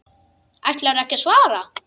Ætlarðu ekki að svara?